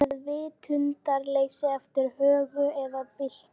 Rot er meðvitundarleysi eftir högg eða byltu.